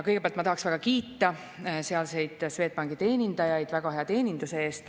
Kõigepealt tahaksin väga kiita sealseid Swedbanki teenindajaid väga hea teeninduse eest.